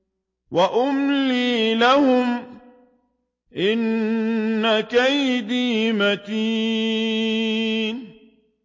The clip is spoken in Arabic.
وَأُمْلِي لَهُمْ ۚ إِنَّ كَيْدِي مَتِينٌ